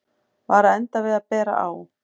Var að enda við að bera á